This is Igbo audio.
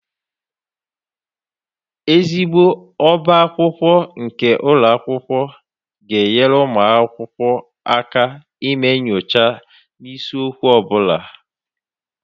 ezigbo ọbá akwụkwọ nke ụlọ akwụkwọ ga-enyere ụmụ akwụkwọ aka ime nyocha n'isiokwu ọ bụla.